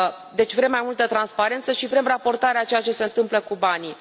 Deci vrem mai multă transparență și vrem raportarea a ceea ce se întâmplă cu banii.